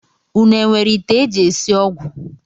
Unu enwere ite e ji esi ọgwụ